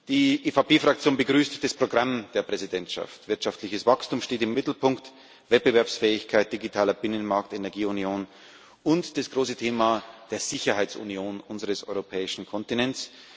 Die EVP Fraktion begrüßt das Programm der Präsidentschaft. Wirtschaftliches Wachstum steht im Mittelpunkt Wettbewerbsfähigkeit, digitaler Binnenmarkt, Energieunion und das große Thema der Sicherheitsunion unseres europäischen Kontinents.